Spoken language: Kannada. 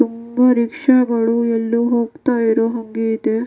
ತುಂಬಾ ರಿಕ್ಷಾ ಗಳು ಎಲ್ಲೋ ಹೋಗ್ತಾ ಇರೋ ಹಂಗೆ ಇದೆ.